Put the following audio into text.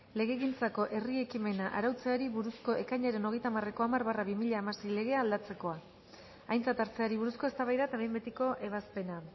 legegintzako herri ekimena arautzeari buruzko ekainaren hogeita hamareko hamar barra bi mila hamasei legea aldatzeko aintzat hartzeari buruzko eztabaida eta behin betiko ebazpena